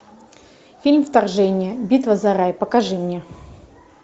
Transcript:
фильм вторжение битва за рай покажи мне